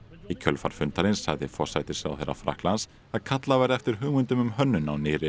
í kjölfar fundarins sagði forsætisráðherra Frakklands að kallað verði eftir hugmyndum um hönnun á nýrri